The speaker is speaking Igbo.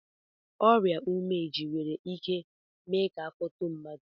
Ọrịa umeji nwere ike mee afọ etoo mmadụ.